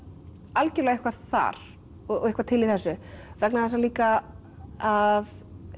algjörlega eitthvað þar og eitthvað til í þessu vegna þess að líka að